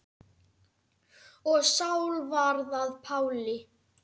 Og Sál varð að Páli.